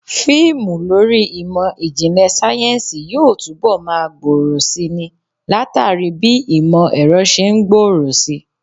Fíìmù lórí ìmọ̀ ìjìnlẹ̀ sáyẹ́ǹsì yóò túbọ̀ máa gbòòrò si ni, látàrí bí ìmọ̀ ẹ̀rọ ṣe ń gbòòrò si